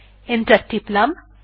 enter টিপলাম